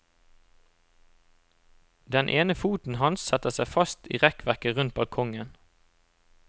Den ene foten hans setter seg fast i rekkverket rundt balkongen.